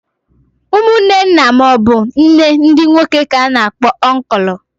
Umunne nna maọbụ nne ndị nwoke k'a na-akpọ ọnkụlụ.